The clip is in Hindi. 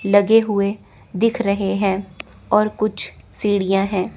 लगे हुए दिख रहे हैं और कुछ सीढ़ियां है।